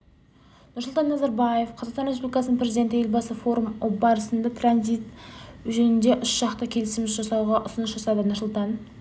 нұрсұлтан назарбаев қазақстан республикасының президенті елбасы форум барысында транзит жөнінде үшжақты келісім жасауға ұсыныс жасады нұрсұлтан